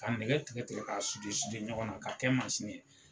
Ka nɛgɛ tigɛ tigɛ k'a ɲɔgɔn na ka kɛ mansini ye.